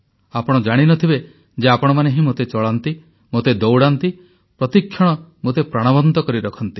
ଆପଣ ଜାଣିନଥିବେ ଯେ ଆପଣମାନେ ହିଁ ମୋତେ ଚଳାନ୍ତି ମୋତେ ଦୌଡ଼ାନ୍ତି ପ୍ରତିକ୍ଷଣ ମୋତେ ପ୍ରାଣବନ୍ତ କରି ରଖନ୍ତି